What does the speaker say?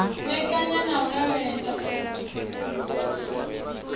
vhekanya na u lavhelesa tsiko